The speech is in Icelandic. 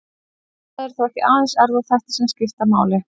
Það eru þó ekki aðeins erfðaþættir sem skipta máli.